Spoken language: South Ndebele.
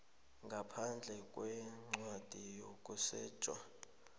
ngaphandle kwencwadi yokusetjha